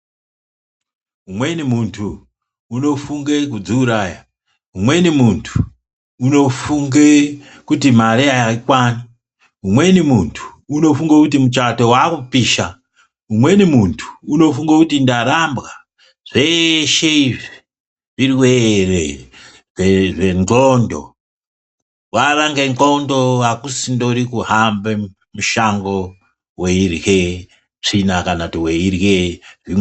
Umweni muntu unofunge kudziuraya, umweni muntu unofunge kuti mari ayikwani, umweni muntu unofunge kuti muchato wakupisha, umweni muntu unofunge kuti ndarambwa, zveshe izvi zvirwere zvendxondo, wave ngendxondo akusindori kuhambe mushango weyirye tsvina kana kuti weyirye......